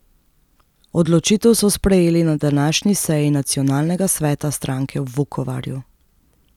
Odločitev so sprejeli na današnji seji nacionalnega sveta stranke v Vukovarju.